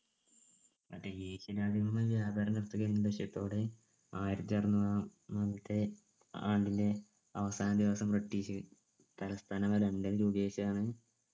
അത് east India company ത്തോടെ ആയിരത്തി അറന്നൂറാമത്തെ ആണ്ടില് അവസാന ദിവസം british തലസ്ഥാനം